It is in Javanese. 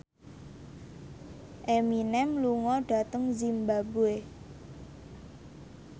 Eminem lunga dhateng zimbabwe